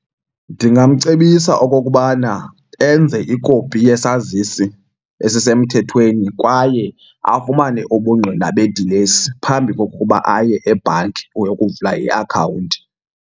Ndingamcebisa okokubana enze ikopi yesazisi esisemthethweni kwaye afumane ubungqina bedilesi phambi kokuba aye ebhanki uyokuvula iakhawunti.